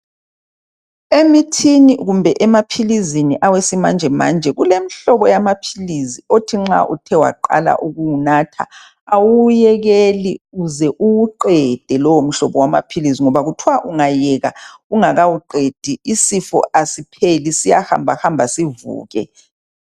emithini kumbe emaphilisini awesimanjemanje kulemhlobo yamaphilisi yokuthi nxa uthe waqala ukuwunatha awuwuyekei uze uwuqede lowo mhlobo wamaphilisi ngoba kuthwa ungayeka ungakawuqedi isifo asipheli siyahamba hamba sivuke